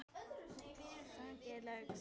Saxið laukinn smátt.